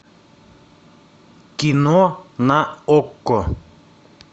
кино на окко